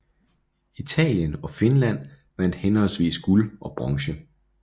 Italien og Finland vandt henholdsvis guld og bronze